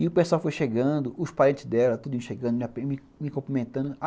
E o pessoal foi chegando, os parentes dela, tudo chegando, me me cumprimentando.